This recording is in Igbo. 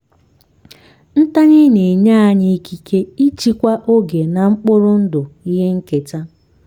ntanye na-enye anyị ikike ịchịkwa oge na mkpụrụ ndụ ihe nketa.